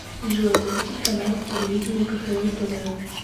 джой запустить канал телевидения кхл тв